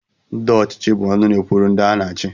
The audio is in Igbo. Ndị ọchịchị bụ ọnụ na-ekwuru ndị ha na-achị